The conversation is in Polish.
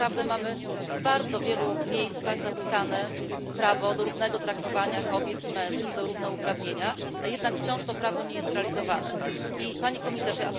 My naprawdę mamy w bardzo wielu miejscach zapisane prawo do równego traktowania kobiet i mężczyzn, do równouprawnienia, a jednak to prawo wciąż nie jest realizowane. Pani Komisarz!